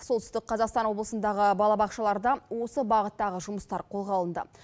солтүстік қазақстан облысындағы балабақшаларда осы бағыттағы жұмыстар қолға алынды